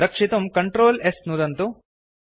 रक्षितुं Ctrl S नुदन्तु